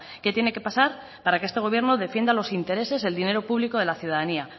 qué tiene que pasar para que este gobierno defienda los intereses el dinero público de la ciudadanía